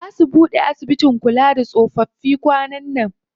Zaa su buɗe asibitin kula da tsofaffi kwanan nan.